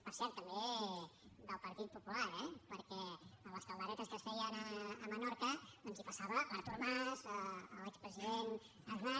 per cert també del partit popular eh perquè a les calderetes que es feien a menorca doncs hi passava l’artur mas l’expresident aznar